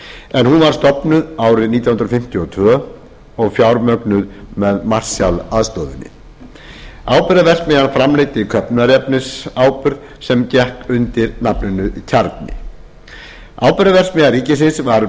en hún var stofnuð árið nítján hundruð fimmtíu og tvö og fjármögnuð með marshallaðstoðinni áburðarverksmiðjan framleiddi köfnunarefnisáburð sem gekk undir nafninu kjarni áburðarverksmiðju ríkisins var